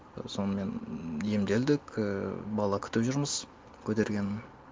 сонымен емделдік ііі бала күтіп жүрміз көтергенін